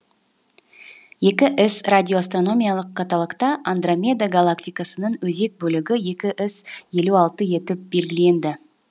екі с радиоастрономиялық каталогта андромеда галактикасының өзек бөлігі екі с елу алты етіп белгіленді